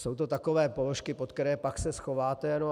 Jsou to takové položky, pod které se pak schováte.